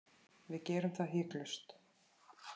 Við gerum það hiklaust